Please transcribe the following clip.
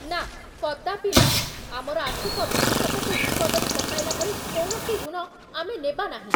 ନା, କଦାପି ନୁହେଁ, ଆମର ଆର୍ଥିକ ଭବିଷ୍ୟତକୁ ବିପଦରେ ପକାଇଲା ଭଳି କୌଣସି ଋଣ ଆମେ ନେବା ନାହିଁ।